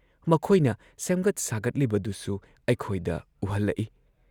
ꯃꯈꯣꯏꯅ ꯁꯦꯝꯒꯠ ꯁꯥꯒꯠꯂꯤꯕꯗꯨꯁꯨ ꯑꯩꯈꯣꯏꯗ ꯎꯍꯜꯂꯛꯏ ꯫